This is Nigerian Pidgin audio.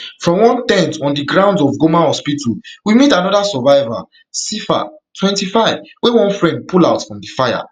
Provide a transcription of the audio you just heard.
for one ten t on di grounds of goma hospital we meet anoda survivor sifa twenty-five wey one friend pull out from di fire